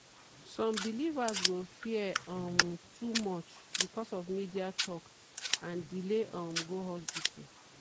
some believers go fear um too much because of media talk and delay um go hospital.